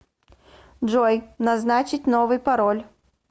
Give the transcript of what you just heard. джой назначить новый пароль